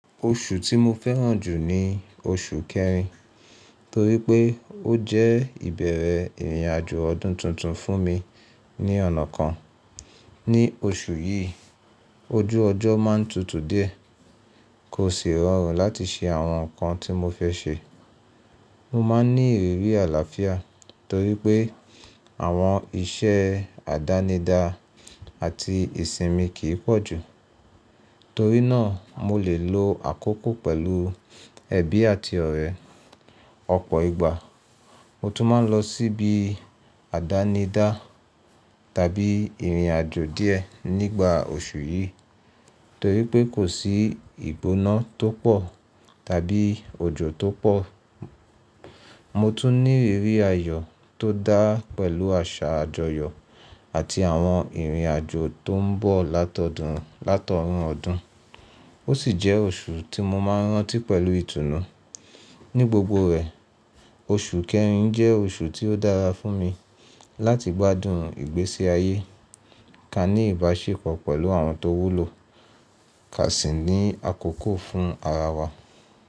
Oṣù tí mo fẹ́ràn jù ni oṣù kẹrin, torí pé ó jẹ́ ìbẹ̀rẹ̀ ìrìnàjò ọdún tuntun fún mi ní ọ̀nà kan. Ní oṣù yìí, ojú ọjọ́ máa tutù díẹ̀, kò sì rọrùn láti ṣe àwọn nǹkan tí mo fẹ́ ṣe. Mo máa ń ní ìrírí àlàáfíà torí pé àwọn iṣẹ́ àdánidá àti ìsinmi kì í pọ̀ jù, torí náà mo lè lo àkókò pẹ̀lú ẹbí àti ọ̀rẹ́. Ọ̀pọ̀ ìgbà mo tún máa ń lọ sí ibi àdánidá tàbí ìrìnàjò díẹ̀ nígbà oṣù yìí, torí pé kò sí ìgbóná tó pọ̀ tàbí òjò tó pọ̀. Mo tún ní ìrírí ayọ̀ tó dá pẹ̀lú àṣà àjọyọ̀ àti àwọn ìrìnàjò tó ń bọ̀ látọdún látọrún ọdún. Ó sì jẹ́ oṣù tí mo máa ń rántí pẹ̀lú ìtùnú. Ní gbogbo rẹ̀, oṣù kẹrin jẹ́ oṣù tí ó dára fún mi láti gbádùn ìgbésí ayé, ká ní ìbáṣepọ̀ pẹ̀lú àwọn tó wúlò, ká sì ní àkókò fún ara wa.